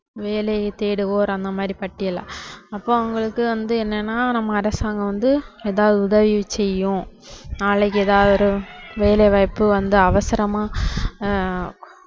வேலை தேடுவோர் அந்த மாதிரி பட்டியலா, அப்போ அவங்களுக்கு வந்து என்னன்னா நம்ம அரசாங்கம் வந்து ஏதாவது உதவி செய்யும் நாளைக்கு ஏதாவது ஒரு வேலைவாய்ப்பு வந்து அவசரமா ஆஹ்